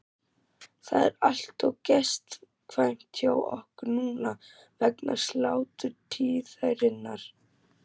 Það er allt of gestkvæmt hjá okkur núna vegna sláturtíðarinnar.